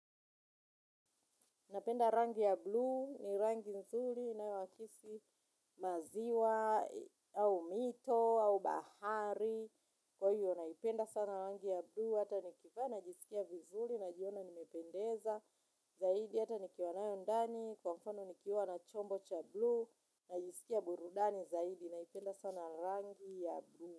Napenda rangi ya bluu, ni rangi nzuri, inawakisi maziwa, au mito, au bahari. Kwa hiyo, naipenda sana rangi ya bluu, hata nikivaa, najisikia vizuri, najiona nimependeza. Zaidi, hata nikiwa nayo ndani, kwa mfano nikiwa na chombo cha bluu, najisikia burudani zaidi, naipenda sana rangi ya bluu.